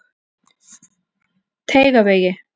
Teigavegi